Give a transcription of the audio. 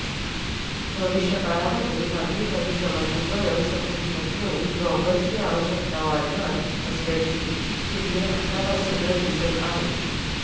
भविष्यकाळामध्ये मानवी परिश्रमांची गरज संपुष्टात येऊन रोबोट्सची आवश्यकता वाढणार असल्याची चिन्हे आतापासूनच दिसत आहेत